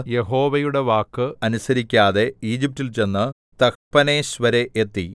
യഹോവയുടെ വാക്ക് അനുസരിക്കാതെ ഈജിപ്റ്റിൽ ചെന്ന് തഹ്പനേസ് വരെ എത്തി